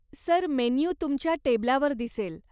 Sir, menu तुमच्या टेबलावर दिसेल.